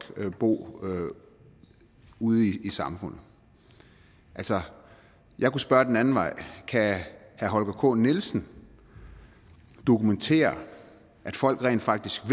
bo ude i samfundet altså jeg kan spørge den anden vej kan herre holger k nielsen dokumentere at folk rent faktisk